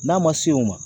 N'a ma se o ma